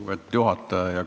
Lugupeetud juhataja!